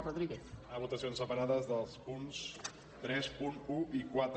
demanar votacions separades dels punts trenta un i quatre